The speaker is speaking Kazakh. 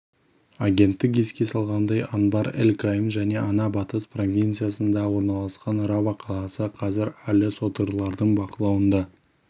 агенттік еске салғандай анбар эль-каим және ана батыс провинциясында орналасқан рава қаласы қазір әлі содырларының бақылауында